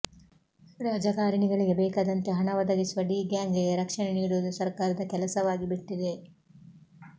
ರಾಜಕಾರಣಿಗಳಿಗೆ ಬೇಕದಂತೆ ಹಣ ಒದಗಿಸುವ ಡಿ ಗ್ಯಾಂಗ್ ಗೆ ರಕ್ಷಣೆ ನೀಡುವುದು ಸರ್ಕಾರದ ಕೆಲಸವಾಗಿಬಿಟ್ಟಿದೆ